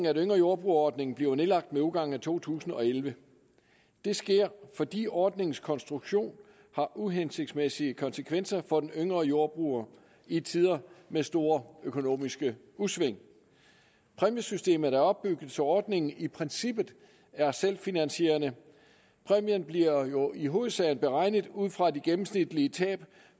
at yngre jordbruger ordningen bliver nedlagt med udgangen af to tusind og elleve det sker fordi ordningens konstruktion har uhensigtsmæssige konsekvenser for den yngre jordbruger i tider med store økonomiske udsving præmiesystemet er opbygget så ordningen i princippet er selvfinansierende præmien bliver jo i hovedsagen beregnet ud fra de gennemsnitlige tab